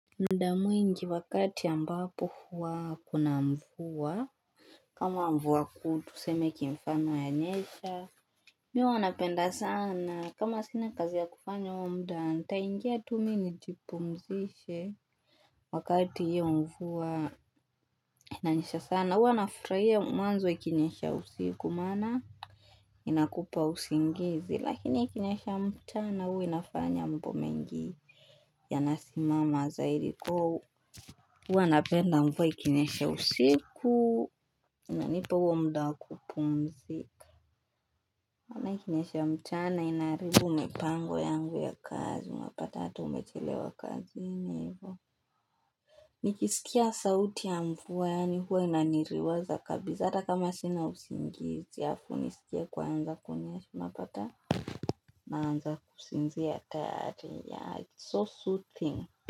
Muda mwingi wakati ambapo huwa kuna mvua ama mvua kuu tuseme kimfano yanyesha Mi huwa napenda sana kama sina kazi ya kufanya huo mda ntaingia tu mi nijipumzishe Wakati io mvua inanyesha sana huwa nafurahia mwanzo ikinyesha usiku maana inakupa usingizi lakini ikinyesha mchana huwa inafanya mambo mengi yanasimama zahiriko Huwa napenda mvua ikinysha usiku Inanipa huo muda wa kupumzika ama ikinyesha mchana inaaribu mipango yangu ya kazi unapata hata umechelewa kazini hivo Nikisikia sauti ya mvua yaani huwa inaniriwaza kabisa ata kama sina usingizi alafu nisikie kwaanza kunyesha unapata Naanza kusinzia tayari yeah it's so soothing.